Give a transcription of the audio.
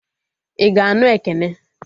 I ga-anụ Ekene?